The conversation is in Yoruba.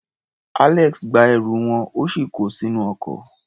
Alex gba ẹrù wọn, ó sì ko sínú ọkọ̀.